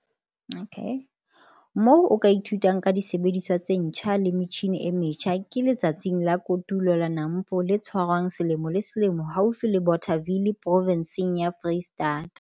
Moo o ka ithutang ka disebediswa tse ntjha le metjhine e metjha ke Letsatsing la Kotulo la NAMPO le tshwarwang selemo le selemo haufi le Bothaville Provenseng ya Foreisetata.